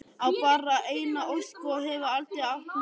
Á bara eina ósk og hefur aldrei átt neina aðra.